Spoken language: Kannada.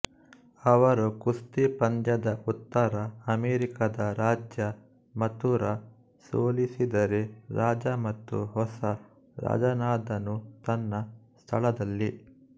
ಅವರು ಕುಸ್ತಿ ಪಂದ್ಯದ ಉತ್ತರ ಅಮೆರಿಕದ ರಾಜ್ಯ ಮಥುರಾ ಸೋಲಿಸಿದರೆ ರಾಜ ಮತ್ತು ಹೊಸ ರಾಜನಾದನು ತನ್ನ ಸ್ಥಳದಲ್ಲಿ